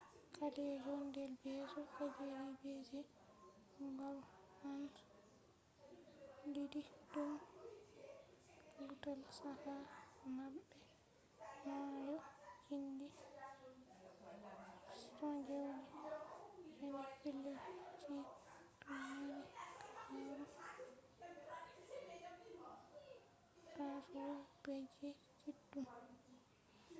callejon del beso alley of the kiss. balconiji diddi dum juutal caka mabbe maayo gimdi 69 pellel on dum mari habaru gaccewol beege kiddum